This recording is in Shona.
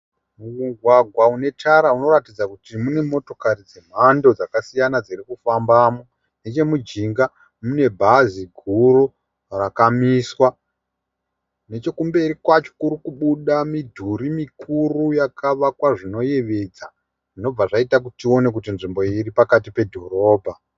Mugwagwa une tara inoratidza kuti mune motokari dzemhando dzakasiyana dziri kufambamo, neche mujinga mune bhazi guru rakamiswa nechekumberi kwacho kuri kubuda midhuri mikuru yakavakwa zvinoyevedza zvinobva zvaita kuti tione kuti nzvimbo iyi iri pakati pedhorobha.